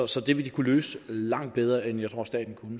så det vil de kunne løse langt bedre end jeg tror staten